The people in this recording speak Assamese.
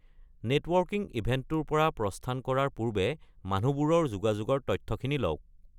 নেটৱাৰ্কিং ইভেন্টটোৰ পৰা প্ৰস্থান কৰাৰ পূৰ্বে মানুহবোৰৰ যোগাযোগৰ তথ্যখিনি লওক।